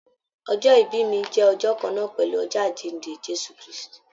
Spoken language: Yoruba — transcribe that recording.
Ọjọ́-ibi mi jẹ ọjọ́ kànnà pẹlú ọjọ́ Àjínde Jésù kristi.